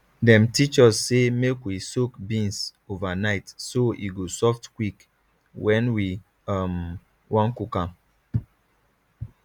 dem teach us say make we soak beans overnight so e go soft quick when we um wan cook am